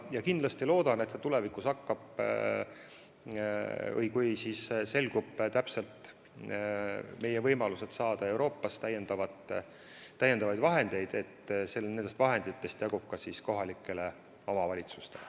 Ja veel loodan, et kui selguvad meie konkreetsed võimalused Euroopast täiendavaid vahendeid saada, siis nendest vahenditest jagub ka kohalikele omavalitsustele.